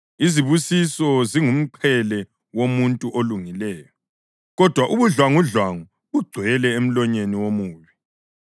Izibusiso zingumqhele womuntu olungileyo. Kodwa ubudlwangudlwangu bugcwele emlonyeni womubi.